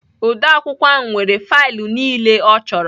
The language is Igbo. Odeakwụkwọ ahụ nwere faịlụ niile ọ chọrọ